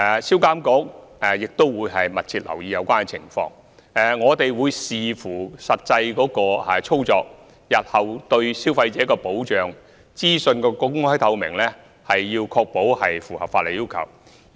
銷監局也會密切留意有關情況，我們亦會視乎實際操作，確保日後對消費者的保障和資訊的公開透明度符合法例要求。